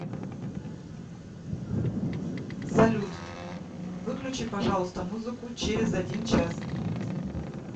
салют выключи пожалуйста музыку через один час